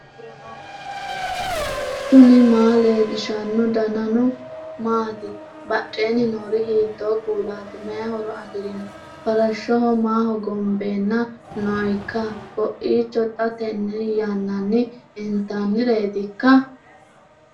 knuni maa leellishanno ? danano maati ? badheenni noori hiitto kuulaati ? mayi horo afirino ? farashshoho maa hogombeenna nooikka koiicho xa tenne yannannini intannireetikka ?